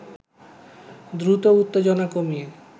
দ্রুত উত্তেজনা কমিয়ে